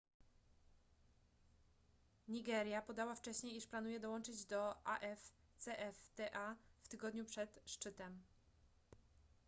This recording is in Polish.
nigeria podała wcześniej iż planuje dołączyć do afcfta w tygodniu przed szczytem